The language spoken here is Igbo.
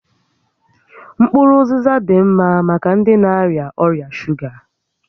Mkpụrụ ụzịza dị ḿmá maka ndị na-arịa ọrịa shuga